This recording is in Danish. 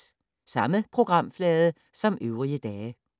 Samme programflade som øvrige dage